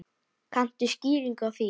Kanntu skýringu á því?